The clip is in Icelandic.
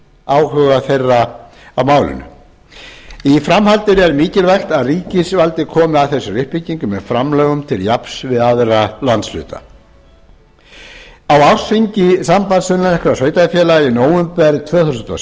áhuga þeirra á málinu í framhaldinu er mikilvægt að ríkisvaldið komi að þessari uppbyggingu með framlögum til jafns við aðra landshluta á ársþingi sass í nóvember tvö þúsund og